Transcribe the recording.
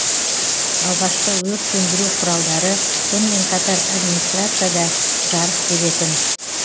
алғашқы өрт сөндіру құралдары сонымен қатар администарцияда жарық беретін